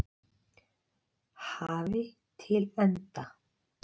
hafi til enda.